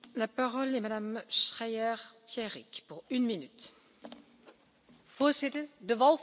Voorzitter, de wolf is in Europa een groot probleem, en, commissaris Vella, wij hebben daar heel vaak over gesproken.